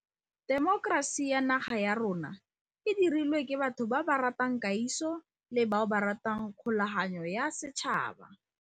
Temokerasi ya naga ya rona e dirilwe ke batho ba ba ratang kagiso le bao ba ratang kgo laganyo ya setšhaba.